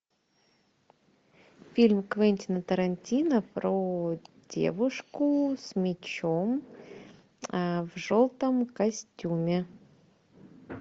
фильм квентина тарантино про девушку с мечом в желтом костюме